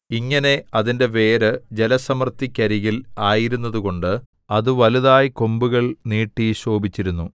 ഇങ്ങനെ അതിന്റെ വേര് ജലസമൃദ്ധിക്കരികിൽ ആയിരുന്നതുകൊണ്ട് അത് വലുതായി കൊമ്പുകൾ നീട്ടി ശോഭിച്ചിരുന്നു